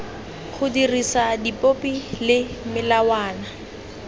go dirisa dipopi le melawana